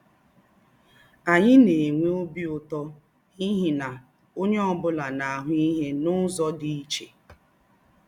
Ányị̀ na-ànwè̄ óbì ūtọ́ n’íhí na ònyé ọ́ bụ́la na-àhụ́ íhè n’ụ́zọ̀ dì̄ íché